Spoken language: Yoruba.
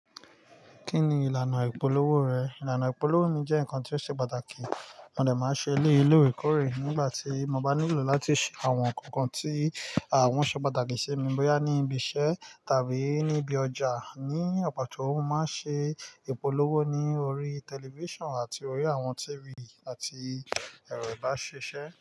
Kí ni ìlànà ìpolówó rẹ̀? Ìlànà ìpolówó mi jẹ́ ǹkan tó ṣe pàtàkì. Mò de máa ń ṣe elé lorè kórè nígbà tí mo bá nílò láti ṣe àwọn ǹkan kan tí àwọn ṣe pàtàkì ṣe mi, bóyá ní ibi iṣẹ́ tàbí níbi ọjà. Ni àpáta òun, mo máa ń ṣe ìpolówó ní orí tẹlifíṣàn àti orí àwọn TV àti ẹ̀rọ ìbáṣeṣẹ.